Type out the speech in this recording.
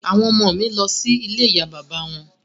Àwọn ọmọ ọ̀ mi lọ sí ilé ìyá bàbá wọn